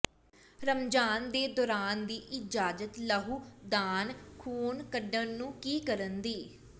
ਰਮਜ਼ਾਨ ਦੇ ਦੌਰਾਨ ਦੀ ਇਜਾਜ਼ਤ ਲਹੂ ਦਾਨ ਖ਼ੂਨ ਕੱਢਣ ਨੂੰ ਕੀ ਕਰਨ ਦੀ